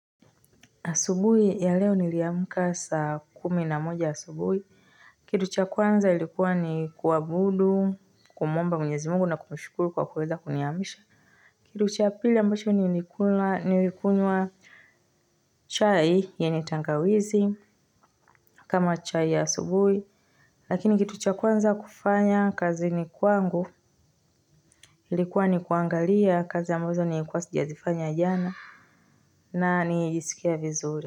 Asubuhi ya leo niliamka saa kumi na moja asubuhi. Kitu cha kwanza ilikua ni kuabudu, kumuomba Mwenyezi Mungu na kumshukuru kwa kuweza kuniamsha. Kitu cha pili ambacho ni ilikunywa chai yenye, tangawizi kama chai ya asubuhi. Lakini kitucha kwanza kufanya kazini kwangu, ilikuwa ni kuangalia kazi ambazo nili kwa sijazifanya jana na nilisikia vizuri.